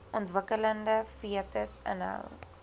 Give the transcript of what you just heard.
ontwikkelende fetus inhou